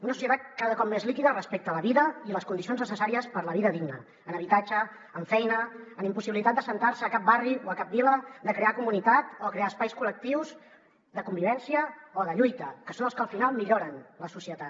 una societat cada cop més líquida respecte a la vida i les condicions necessàries per a la vida digna en habitatge en feina en impossibilitat d’assentar se a cap barri o a cap vila de crear comunitat o crear espais col·lectius de convivència o de lluita que són els que al final milloren la societat